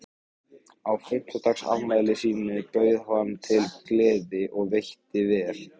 Á fimmtugsafmæli sínu bauð hann til gleði og veitti vel.